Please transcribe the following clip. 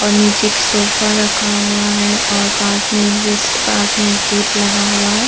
और नीचे एक सोफा रखा हुआ है और पास में जस्ट पास में एक गेट लगा हुआ है।